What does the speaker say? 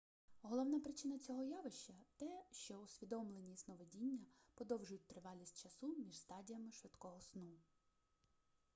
головна причина цього явища те що усвідомлені сновидіння подовжують тривалість часу між стадіями швидкого сну